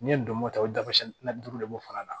N'i ye donmo kɛ o dabɔsi na duuru de b'o fana na